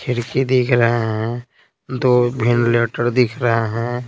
खिड़की दिख रहा है दो भिन्न लेटर दिख रहा है।